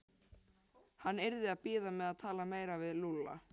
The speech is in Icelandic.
Hann yrði að bíða með að tala meira við Lúlla.